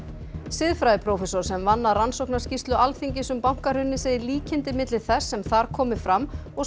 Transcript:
siðfræðiprófessor sem vann að rannsóknarskýrslu Alþingis um bankahrunið segir líkindi milli þess sem þar komi fram og